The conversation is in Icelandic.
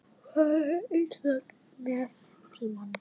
Fari illa með tímann.